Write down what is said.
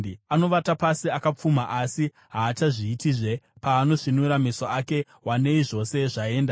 Anovata pasi akapfuma, asi haachazviitizve; paanosvinura meso ake, wanei zvose zvaenda.